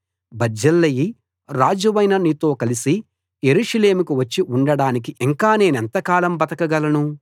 బర్జిల్లయి రాజువైన నీతో కలసి యెరూషలేముకు వచ్చి ఉండడానికి ఇంకా నేనెంకాలం బతకగలను